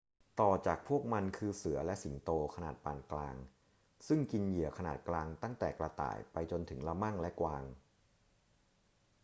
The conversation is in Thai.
ต่อจากพวกมันคือเสือและสิงโตขนาดปานกลาง ซึ่งกินเหยื่อขนาดกลางตั้งแต่กระต่ายไปจนถึงละมั่งและกวาง